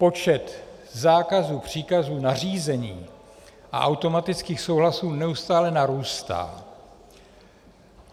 Počet zákazů, příkazů, nařízení a automatických souhlasů neustále narůstá.